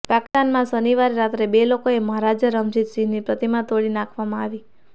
પાકિસ્તાનમાં શનિવારે રાત્રે બે લોકોએ મહારાજા રમજીત સિંહની પ્રતિમા તોડી નાંખવામાં આવી